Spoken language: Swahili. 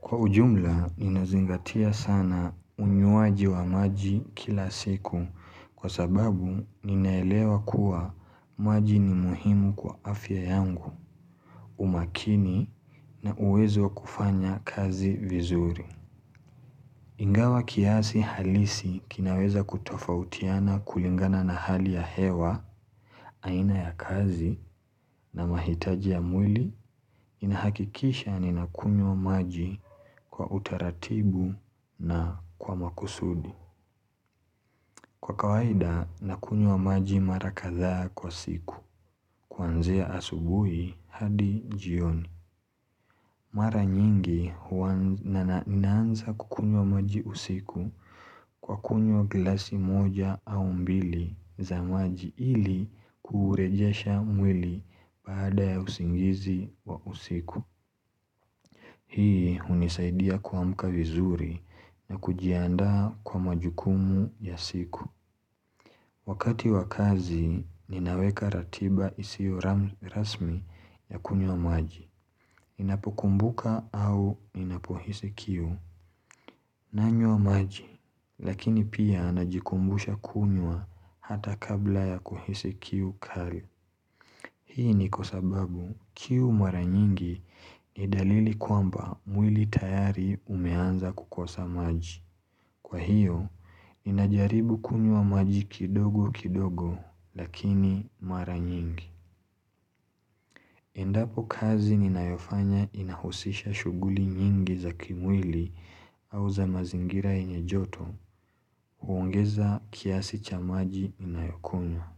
Kwa ujumla, ninazingatia sana unywaji wa maji kila siku kwa sababu ninaelewa kuwa maji ni muhimu kwa afya yangu umakini na uwezo wa kufanya kazi vizuri. Ingawa kiasi halisi kinaweza kutofautiana kulingana na hali ya hewa, aina ya kazi na mahitaji ya mwili inahakikisha ni nakunywa maji kwa utaratibu na kwa makusudi. Kwa kawaida nakunywa maji mara kadhaa kwa siku. Kuanzia asubuhi hadi jioni. Mara nyingi ninaanza kukunywa maji usiku kwa kunywa glasi moja au mbili za maji ili kurejesha mwili baada ya usingizi wa usiku. Hii hunisaidia kuamka vizuri na kujiandaa kwa majukumu ya siku. Wakati wakazi ninaweka ratiba isiyo rasmi ya kunywa maji. Inapokumbuka au ninapohisi kiu nanywa maji lakini pia najikumbusha kunywa hata kabla ya kuhisi kiu kali Hii ni kwa sababu kiu mara nyingi ni dalili kwamba mwili tayari umeanza kukosa maji Kwa hiyo, ninajaribu kunywa maji kidogo kidogo lakini mara nyingi Endapo kazi ninayofanya inahusisha shughuli nyingi za kimwili au za mazingira yenye joto huongeza kiasi cha maji ninayokunywa.